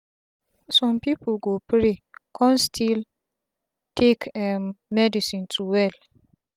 sum pipu go pray kon still take um medicine to well